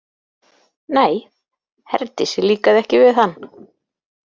Nei, Herdísi líkaði ekki við hann.